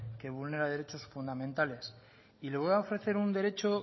que vulnera derechos fundamentales y le voy a ofrecer un derecho